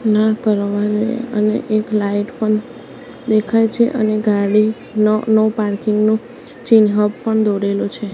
ના કરવાની અને એક લાઈટ પણ દેખાય છે અને ગાડી નો નો પાર્કિંગ નુ ચિન્હ પણ દોરેલો છે.